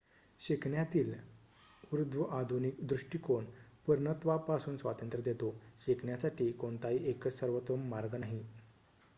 शिकण्यातील ऊर्ध्वआधुनिक दृष्टीकोण पुर्णत्वापासून स्वातंत्र्य देतो शिकण्यासाठी कोणताही एकच सर्वोत्तम मार्ग नाही